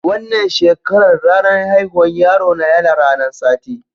Wanan shekaran, ranan haihuwan yaro na yana ranan Sati.